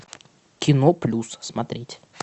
кино плюс смотреть